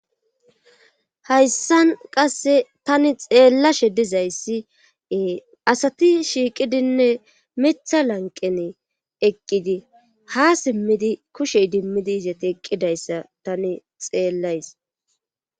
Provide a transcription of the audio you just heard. hayssan qasse tani xeella she dizayssiee asati shiiqidinne mitha lanqene eqqidi ha simmidi kushey dimmidizati eqqidayssa tani xeellays